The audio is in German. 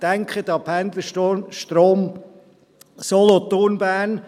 Denken Sie an den Pendlerstrom Solothurn–Bern.